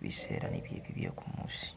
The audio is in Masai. biseera bili bye kumuusi.